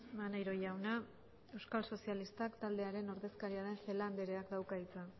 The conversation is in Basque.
maneiro jauna euskal sozialistak taldearen ordezkaria den celaá andreak dauka hitza